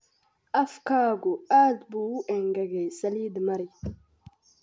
Afkaagu aad buu u engegay, saliid mari.